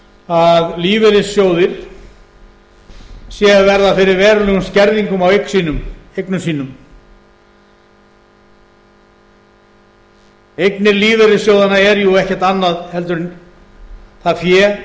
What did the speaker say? að lífeyrissjóðir séu að verða fyrir verulegum skerðingum á eignum sínum eignir lífeyrissjóðanna eru jú ekkert annað en það fé